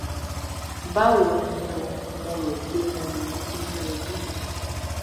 báwo ni o mo rò pé mo ti ń rọbí